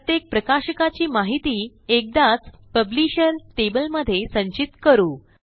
प्रत्येक प्रकाशकाची माहिती एकदाच पब्लिशर टेबल मध्ये संचित करू